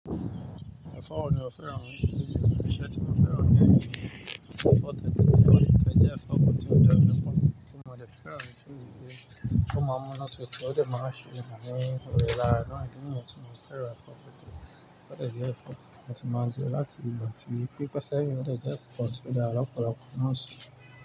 O maa n munu tutu, o de maa n se eyan ni ore lara naa idi niyen ti mo fi feran e, o de je nkan ti mo ti ma n je lati ile ti pipe seyin o de je nkan ti o dara lopolopo.